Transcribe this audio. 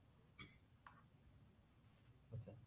ଆଚ୍ଛା